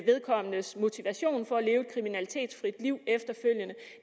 vedkommendes motivation for efterfølgende at leve et kriminalitetsfrit liv